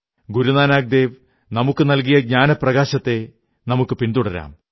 ഗുരു നാനാക് ദേവ് നമുക്കു നല്കിയ ജ്ഞാനപ്രകാശത്തെ പിന്തുടരാം